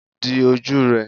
di oju rẹ!